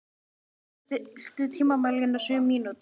Haddi, stilltu tímamælinn á sjö mínútur.